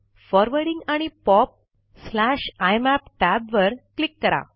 forwarding आणि POP IMAP tab वर click करा